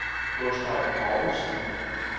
Gustav Povlsen